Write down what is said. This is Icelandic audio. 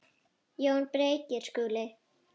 JÓN BEYKIR: Skúli!